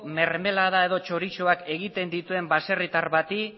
mermelada edo txorizoak egiten dituen baserritar bati